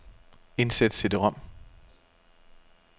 Indsæt cd-rom.